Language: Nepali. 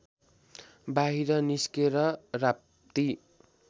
बाहिर निस्केर राप्ती